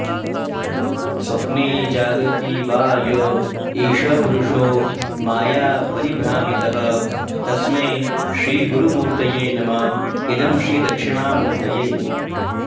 स्वप्ने जाग्रति वा य एष पुरुषो मायापरिभ्रामितः तस्मै श्रीगुरुमूर्तये नम इदं श्रीदक्षिणामूर्तये